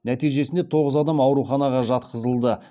нәтижесінде тоғыз адам ауруханаға жатқызылды